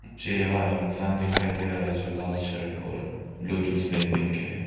मुझे यहां एक इंसान दिखाई दे रहा है जो लाल शर्ट और ब्लू जींस पेंट पहन के है।